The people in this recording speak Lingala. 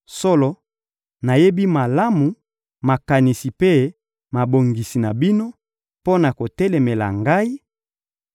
Solo, nayebi malamu makanisi mpe mabongisi na bino, mpo na kotelemela ngai;